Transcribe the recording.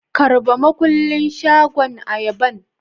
Karba makulin shagon Ayaban.